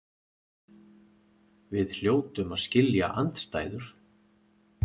Við hljótum að skilja andstæður.